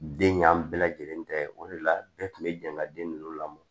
Den ɲa bɛɛ lajɛlen tɛ o de la bɛɛ tun bɛ jɛ ka den ninnu lamɔ